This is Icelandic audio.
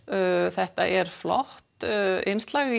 þetta er flott innslag